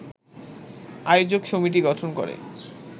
আয়োজক সমিতি গঠন করে